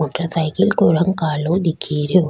Motor cycle को रंग कालो दिखे रेहो।